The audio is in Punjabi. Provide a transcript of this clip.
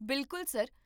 ਬਿਲਕੁਲ, ਸਰ